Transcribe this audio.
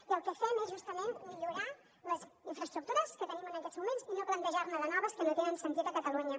i el que fem és justament millorar les infraestructures que tenim en aquests moments i no plantejar ne de noves que no tenen sentit a catalunya